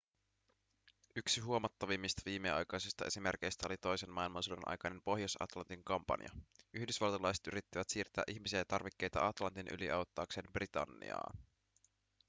yksi huomattavimmista viimeaikaisista esimerkeistä oli toisen maailmansodan aikainen pohjois-atlantin kampanja yhdysvaltalaiset yrittivät siirtää ihmisiä ja tarvikkeita atlantin yli auttaakseen britanniaa